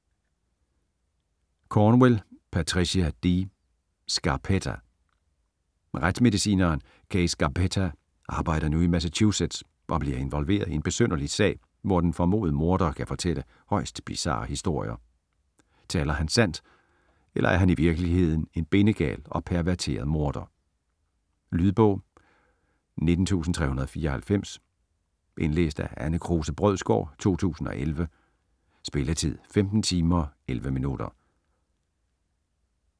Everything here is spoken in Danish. Cornwell, Patricia D.: Scarpetta Retsmedicineren Kay Scarpetta arbejder nu i Massachusetts og bliver involveret i en besynderlig sag, hvor den formodede morder kan fortælle højst bizarre historier. Taler han sandt, eller er han i virkeligheden en bindegal og perverteret morder? Lydbog 19394 Indlæst af Anne Kruse Brødsgaard, 2011. Spilletid: 15 timer, 11 minutter.